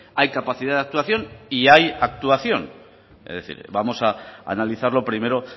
hay capacidad de actuación y hay actuación es decir vamos a analizarlo primero